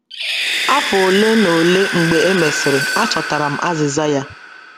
Afọ ole na ole mgbe e mesịrị, achọtara m azịza ya.